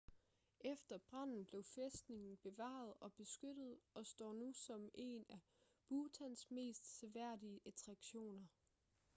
efter branden blev fæstningen bevaret og beskyttet og står nu som en af bhutans mest seværdige attraktioner